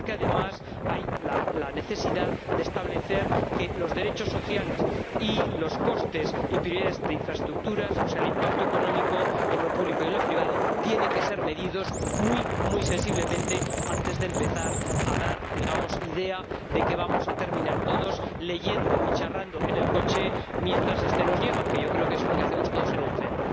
Porque, además, hay necesidad de establecer que los derechos sociales y los costes y prioridades de infraestructuras, o sea el impacto económico en lo público y lo privado, tienen que ser medidos muy muy sensiblemente antes de empezar a dar idea de que vamos a terminar todos leyendo y charlando en el coche mientras este nos lleva, que yo creo que es lo que hacemos todos en el tren.